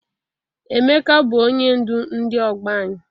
Emeka bụ onye ndu ndi ọgbọ anyị.